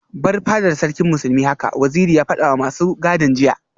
Bar fadar Sarkin Musulmi haka Waziri ya fadawa masu gadin jiya